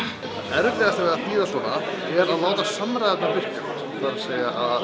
erfiðasta við að þýða svona er að láta allar samræðurnar virka það er að